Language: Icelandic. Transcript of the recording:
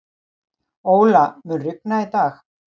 Óla, mun rigna í dag?